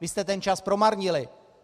Vy jste ten čas promarnili.